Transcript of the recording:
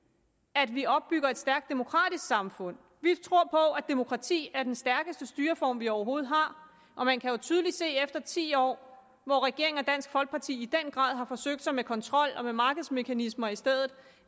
at vi opbygger et stærkt demokratisk samfund vi tror på at demokrati er den stærkeste styreform vi overhovedet har og man kan jo tydeligt se efter ti år hvor regeringen og dansk folkeparti i den grad har forsøgt sig med kontrol og med markedsmekanismer i stedet